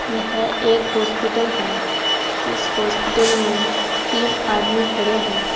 यह एक हॉस्पिटल है इस हॉस्पिटल में तीन आदमी खड़े हैं।